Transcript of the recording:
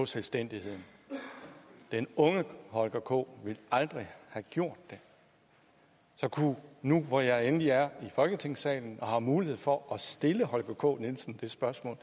selvstændigheden den unge holger k ville aldrig have gjort det så nu hvor jeg endelig er i folketingssalen og har mulighed for at stille holger k nielsen det spørgsmål